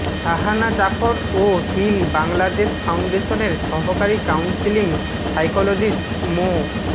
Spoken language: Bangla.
শাহানা জাফর ও হিল বাংলাদেশ ফাউন্ডেশনের সহকারী কাউন্সিলিং সাইকোলজিস্ট মো